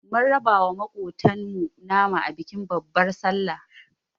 Mun raba wa maƙotan mu nama a bikin babbar sallar